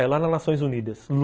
É lá na Nações Unidas.